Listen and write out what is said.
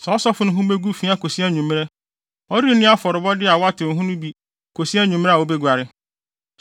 saa ɔsɔfo no ho begu fi akosi anwummere. Ɔrenni afɔrebɔde a wɔatew ho no bi kosi anwummere a obeguare.